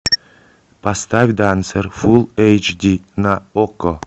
поставь дансер фулл эйч ди на окко